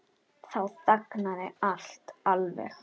Þá þagnaði allt alveg.